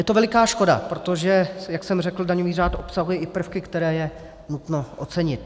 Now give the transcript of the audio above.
Je to veliká škoda, protože, jak jsem řekl, daňový řád obsahuje i prvky, které je nutno ocenit.